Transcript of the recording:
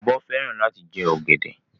Ọbọ fẹran lati jẹ ogede.